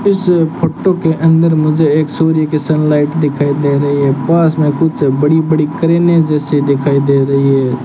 इस फोटो के अंदर मुझे एक सूर्य की सनलाइट दिखाई दे रही है पास में कुछ बड़ी बड़ी क्रेने जैसे दिखाई दे रही है।